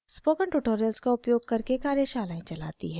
spoken tutorials का उपयोग करके कार्यशालाएं चलाती है